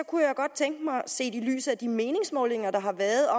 kunne jeg godt tænke mig set i lyset af de meningsmålinger der har været og